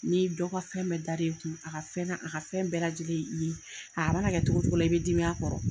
Ni dɔgɔ ka fɛn bɛɛ dar'e kun , a ka fɛn na a ka fɛn bɛɛ lajɛlen ye i ye, a ma n'a kɛ cogo cogo la i bɛ dimi a kɔrɔ.